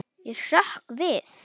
Ég hrökk við.